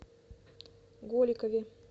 голикове